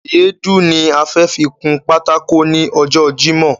Èédú ni a fẹ fi kun pátákó ní ọjọ́ jímòh